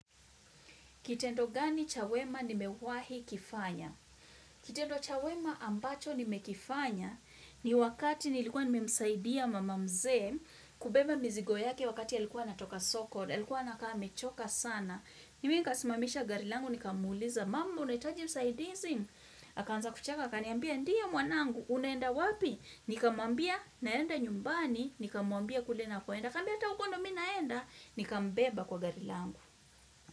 Kitendo gani cha wema nimewahi kifanya? Kitendo chyawema ambacho nimekifanya ni wakati nilikuwa nimemsaidia mama mzee kubeba mzigo yaki wakati ya likuwa natoka soko, ya likuwa nakame choka sana. Mimi kasimamisha gari langu, nikamuliza mamu, unahitaji usaidizi? Akanza kucheka, kaniambia, ndio mwanangu, unaenda wapi? Nikamambia, naenda nyumbani, nikamambia kule nakoenda. Kaniambia hata huku ndio mi naenda, nikambeba kwa gari langu.